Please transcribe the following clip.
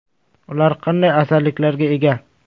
Ular qanday afzalliklarga ega?